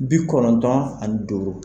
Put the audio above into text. Bi kɔnɔntɔn ani duuru.